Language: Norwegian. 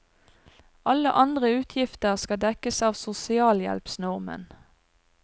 Alle andre utgifter skal dekkes av sosialhjelpsnormen.